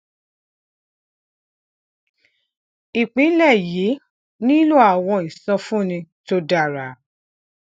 ìpínlè yìí nílò àwọn ìsọfúnni tó dára